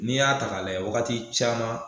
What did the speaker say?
N'i y'a ta ka lajɛ wagati caman